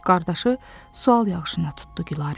Qardaşı sual yağışına tutdu Gülarəni.